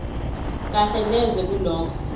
kahle neze kulokho